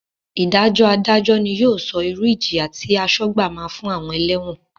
Ìdájọ́ Adájọ́ ni yóò sọ irú ìjìyà tí asọ́gbà máa fún àwọn ẹlẹ́wọ̀n